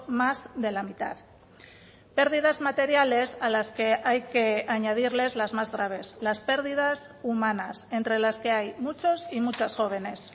más de la mitad pérdidas materiales a las que hay que añadirles las más graves las pérdidas humanas entre las que hay muchos y muchas jóvenes